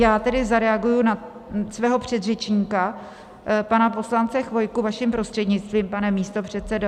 Já tedy zareaguji na svého předřečníka pana poslance Chvojku, vaším prostřednictvím, pane místopředsedo.